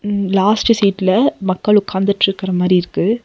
ம் லாஸ்ட்டு சீட்ல மக்கள் ஒக்காந்துட்டுருக்குற மாரி இருக்கு.